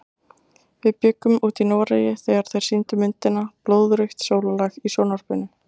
Við bjuggum úti í Noregi þegar þeir sýndu myndina Blóðrautt sólarlag í sjónvarpinu.